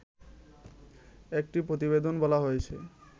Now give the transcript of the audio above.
একটি প্রতিবেদনে বলা হয়েছে